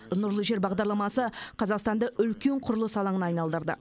нұрлы жер бағдарламасы қазақстанды үлкен құрылыс алаңына айналдырды